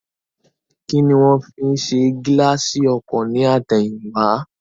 Kíni wón fi ṣe gíláàsì ọkọ̀ ní àtẹ̀yìn wá